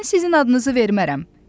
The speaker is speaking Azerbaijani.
Mən sizin adınızı vermərəm.